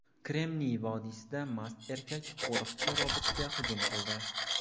Kremniy vodiysida mast erkak qo‘riqchi robotga hujum qildi.